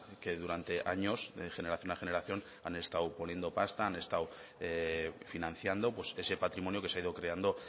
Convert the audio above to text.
que durante años de generación a generación han estado poniendo pasta han estado financiando ese patrimonio que se ha ido creando